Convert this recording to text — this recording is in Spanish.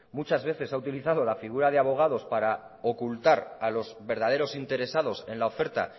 muchas veces se ha utilizado la figura de abogados para ocultar a los verdaderos interesados en la oferta